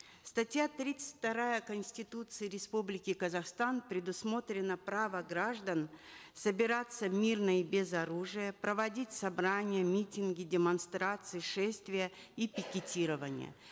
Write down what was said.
статья тридцать вторая конституции республики казахстан предусмотрено право граждан собираться мирно и без оружия проводить собрания митинги демонстрации шествия и пикетирования